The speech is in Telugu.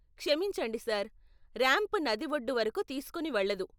క్షమించండి సార్, రాంప్ నది ఒడ్డు వరకు తీసుకుని వెళ్ళదు .